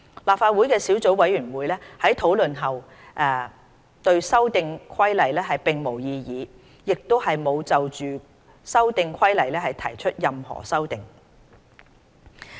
立法會的小組委員會在討論後對《修訂規例》並無異議，亦沒有就《修訂規例》提出任何修訂。